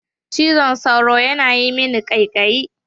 Cizon sauro yana yi min kaikayi.